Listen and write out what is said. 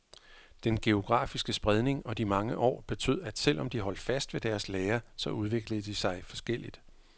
Den geografiske spredning og de mange år betød, at selv om de holdt fast ved deres lære, så udviklede de sig forskelligt.